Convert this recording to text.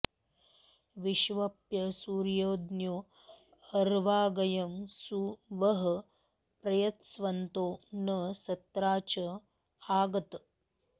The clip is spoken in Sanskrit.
वि॒श्वप्सु॑र्य॒ज्ञो अ॒र्वाग॒यं सु वः॒ प्रय॑स्वन्तो॒ न स॒त्राच॒ आ ग॑त